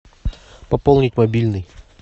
пополнить мобильный